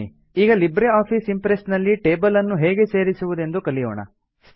ಬನ್ನಿ ಈಗ LibreOffice Impress ನಲ್ಲಿ ಟೇಬಲ್ ಅನ್ನು ಹೇಗೆ ಸೇರಿಸುವುದೆಂದು ಕಲಿಯೋಣ